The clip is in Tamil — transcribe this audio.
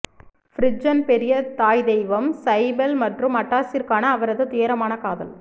ஃபிரிஜன் பெரிய தாய் தெய்வம் சைபெல் மற்றும் அட்டாஸிற்கான அவரது துயரமான காதல்